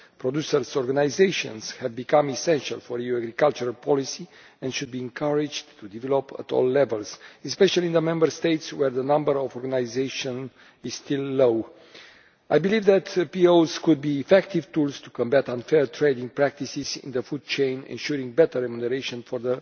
Producer organisations have become essential for European cultural policy and should be encouraged to develop at all levels, especially in Member States where the number of organisations is still low. I believe that POs could be effective tools to combat unfair trading practices in the food chain, ensuring better remuneration for